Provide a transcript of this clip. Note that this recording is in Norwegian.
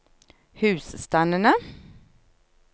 husstandene